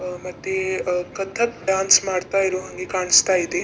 ಆ ಮತ್ತೆ ಕಥಕ್ ಡಾನ್ಸ್ ಮಾಡ್ತಾ ಇರುವಂಗೆ ಕಾಣಿಸ್ತಾ ಇದೆ.